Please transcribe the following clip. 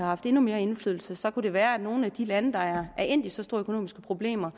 haft endnu mere indflydelse så kunne det være at nogle af de lande der er endt i så store økonomiske problemer